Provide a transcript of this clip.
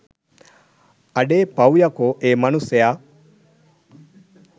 අඩේ පවු යකෝ ඒ මනුස්සයා